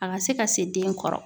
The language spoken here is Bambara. A ka se ka se den kɔrɔ